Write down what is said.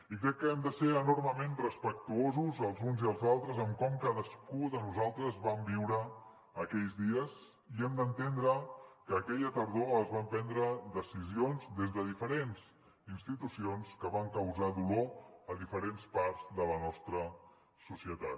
i crec que hem de ser enormement respectuosos els uns i els altres en com cadascú de nosaltres vam viure aquells dies i hem d’entendre que aquella tardor es van prendre decisions des de diferents institucions que van causar dolor a diferents parts de la nostra societat